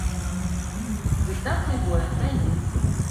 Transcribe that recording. звезда плейбоя найди